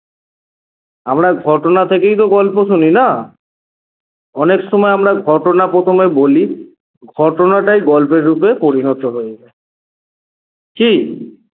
আমরা ঘটনা থেকেই তো গল্প শুনি না? অনেকসময় আমরা ঘটনা প্রথমে বলি ঘটনাটাই গল্পের রুপে পরিণত হয়ে যায় কী?